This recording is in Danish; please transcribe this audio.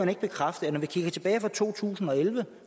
ikke bekræfte at når vi kigger tilbage fra to tusind og elleve